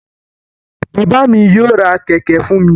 Bàbà mí yóò rá kẹkẹ fún mí